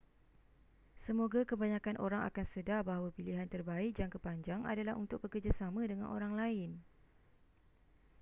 semoga kebanyakan orang akan sedar bahawa pilihan terbaik jangka panjang adalah untuk bekerjasama dengan orang lain